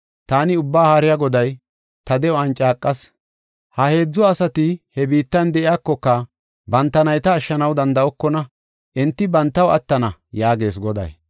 taani Ubbaa Haariya Goday ta de7uwan caaqas. Ha heedzu asati he biittan de7iyakoka, banta nayta ashshanaw danda7okona. Enti bantaw attana” yaagees Goday.